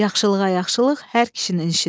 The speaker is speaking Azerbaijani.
Yaxşılığa yaxşılıq hər kişinin işidir.